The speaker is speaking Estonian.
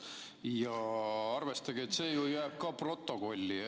Ja arvestage, et see jääb ju ka stenogrammi.